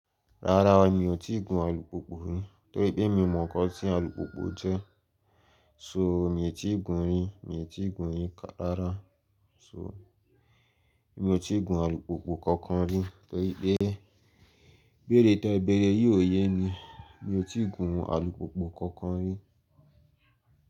Rárá o, mi ò tíì gun alùpùpù rí, tó í pé mi mọ̀ nǹkan tí alùpùpù jẹ́, so mi ò tí ì gun rí, mi ò tí ì gun rí ká rárá. So, mi ò tí ì gun alùpùpù kankan rí, torí pé, ibéèrè tí ẹ bẹ̀rẹ̀ yìí ò ye mi, mi ò tí ì gun alùpùpù kankan rí.